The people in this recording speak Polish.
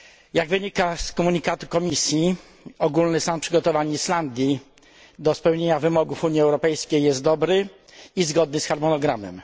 Jak wynika z komunikatu Komisji, ogólny stan przygotowań Islandii do spełnienia wymogów Unii Europejskiej jest dobry i zgodny z harmonogramem.